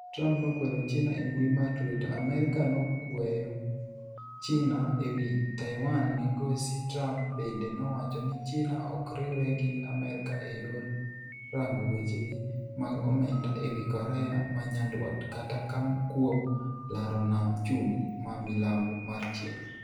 Trump nokwero China e mbui mar Twitter. Amerka nokweyo China ewi Taiwan migosi Trump bende nowacho ni China ok riwre gi Amerka e yor rango wechegi mag omenda, ewi Korea manyandwat kata kuom laro nam chumbi ma milambo mar China.